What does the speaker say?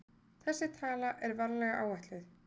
Þessi tala er varlega áætluð.